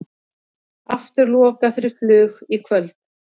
Aftur lokað fyrir flug í kvöld